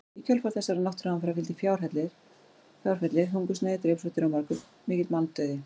Í kjölfar þessara náttúruhamfara fylgdi fjárfellir, hungursneyð, drepsóttir og mikill manndauði.